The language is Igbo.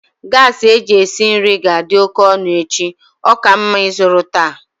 gasi eji esi nri ga-adị oke ọnụ echi, ọ ka mma ịzụrụ taa